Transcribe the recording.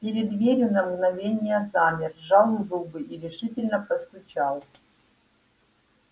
перед дверью на мгновение замер сжал зубы и решительно постучал